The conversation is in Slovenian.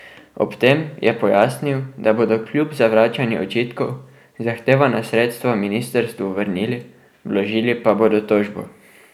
Ob tem je pojasnil, da bodo kljub zavračanju očitkov, zahtevana sredstva ministrstvu vrnili, vložili pa bodo tožbo.